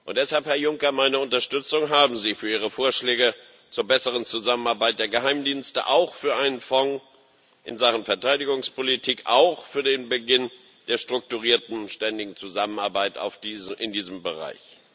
Deshalb, Herr Juncker Meine Unterstützung haben Sie für Ihre Vorschläge zur besseren Zusammenarbeit der Geheimdienste, auch für einen Fonds in Sachen Verteidigungspolitik, auch für den Beginn der strukturierten und ständigen Zusammenarbeit in diesem Bereich.